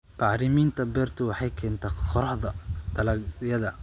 Bacriminta beertu waxay keentaa korodhka dalagyada.